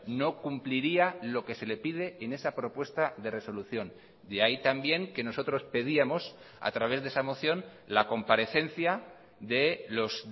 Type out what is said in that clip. no cumpliría lo que se le pide en esa propuesta de resolución de ahí también que nosotros pedíamos a través de esa moción la comparecencia de los